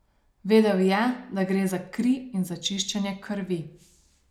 Vedel je, da gre za kri in za čiščenje krvi.